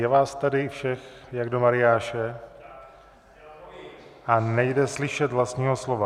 Je vás tady šest jak do mariáše, a nejde slyšet vlastního slova.